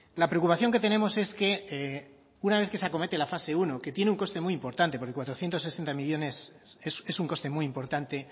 la preocupación que tenemos es que una vez que se acomete la fase uno que tiene un coste muy importante porque cuatrocientos sesenta millónes es un coste muy importante